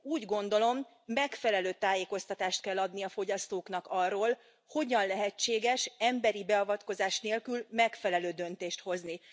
Úgy gondolom, megfelelő tájékoztatást kell adni a fogyasztóknak arról, hogyan lehetséges emberi beavatkozás nélkül megfelelő döntést hozni.